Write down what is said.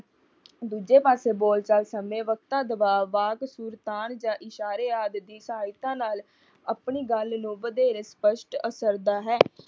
ਦੂਜੇ ਪਾਸੇ ਬੋਲ ਚਾਲ ਸਮੇਂ ਵਕਤ ਦਬਾਅ ਵਾਕ ਸੁਰ ਤਾਣ ਜਾਂ ਇਸ਼ਾਰੇ ਆਦਿ ਦੀ ਸਹਾਇਤਾ ਨਾਲ ਆਪਣੀ ਗੱਲ ਨੂੰ ਵਧੇਰੇ ਸਪੱਸ਼ਟ ਅਸਰਦਾ ਹੈ।